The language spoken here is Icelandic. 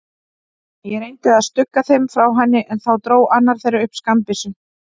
Ég reyndi að stugga þeim frá henni, en þá dró annar þeirra upp skammbyssu.